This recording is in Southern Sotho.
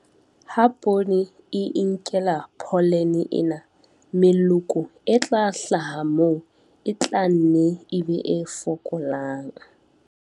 Ha poone e inkela pholene ena, meloko e tla hlaha moo e tla nne e be e fokolang.